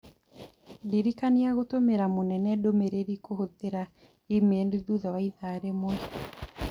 Ndirikania gũtũmĩra mũnene ndũmĩrĩri kũhũthĩra e-mail thutha wa ithaa rĩmwe.